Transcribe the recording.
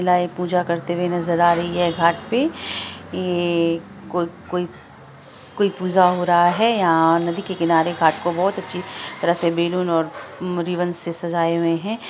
महिलायें पूजा करती हुई नजर आ रही है| यहाँ घाट पे ये कोई-कोई पूजा हो रहा है| नदी के किनारे बहुत अच्छे से सजाया हुआ है घाट को बहुत से बैलून और रिबन से सजाया हुआ है।